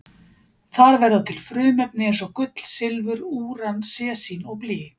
Þar verða til frumefni eins og gull, silfur, úran, sesín og blý.